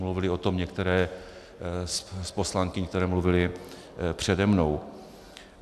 Mluvily o tom některé z poslankyň, které mluvily přede mnou.